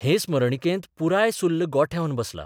हे स्मरणिकेंत पुराय सुर्ल गोठेवन बसला.